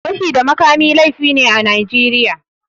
Fashi da makami laifi ne a Najeriya.